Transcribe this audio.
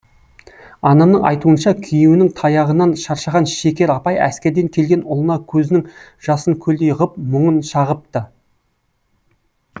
анамның айтуынша күйеуінің таяғынан шаршаған шекер апай әскерден келген ұлына көзінің жасын көлдей ғып мұңын шағыпты